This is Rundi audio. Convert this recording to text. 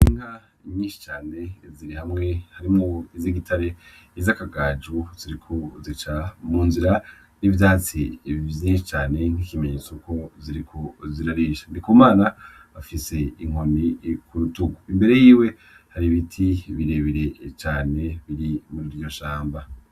Inga inyinshi cane ziri hamwe harimwo izo igitare izi akagaju ziriku zica mu nzira n'ivyatsi biivyie cane nk'ikimenyetso ku zirikuzirarisha ndi kumana afise inkoni ku rutuku imbere yiwe hari ibiti birebire cane biri mu riryo shamba.